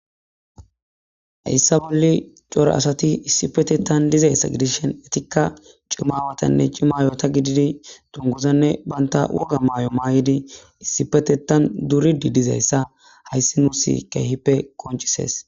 Hayssa bolli cora asay issipetettan dizayssa gidishin etikka cima aawatanne cima aayota gididi dungguzanne bantta woga mayo mayidi issipetettan duriiddi dizayssa haysii nuussi keehippe qonccisees.